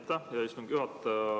Aitäh, hea istungi juhataja!